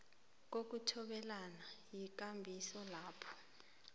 kokuthobelana yikambiso lapho